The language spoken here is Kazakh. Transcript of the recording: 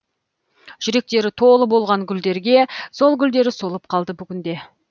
жүректері толы болған гүлдерге сол гүлдері солып қалды бүгінде